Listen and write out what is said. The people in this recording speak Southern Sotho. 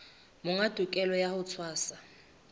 monga tokelo ya ho tshwasa